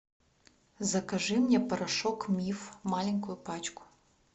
закажи мне порошок миф маленькую пачку